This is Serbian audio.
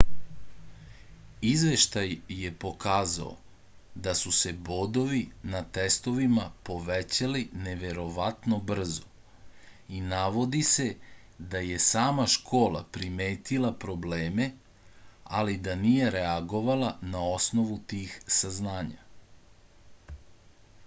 izveštaj je pokazao da su se bodovi na testovima povećali neverovatno brzo i navodi se da je sama škola primetila probleme ali da nije reagovala na osnovu tih saznanja